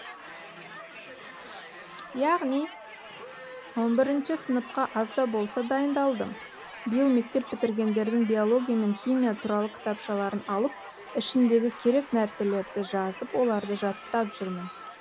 яғни он бірінші сыныпқа аз да болса дайындалдым биыл мектеп бітіргендердің биология мен химия туралы кітапшаларын алып ішіндегі керек нәрселерді жазып оларды жаттап жүрмін